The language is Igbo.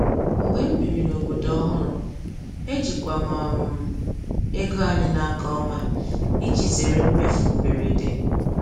Mgbe m biri n’obodo ọhụrụ, ejikwa m um ego anyị n’aka ọma iji zere mmefu mberede.